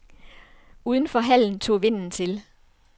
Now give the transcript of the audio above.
Uden for hallen tog vinden til.